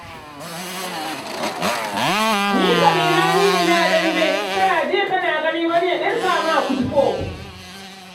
Ni kam ina ni ina dambe, kana ji kana gani wani ya ɗirka ma kutufo.